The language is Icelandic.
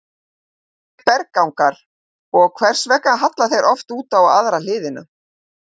Hvað eru berggangar og hvers vegna halla þeir oft út á aðra hliðina?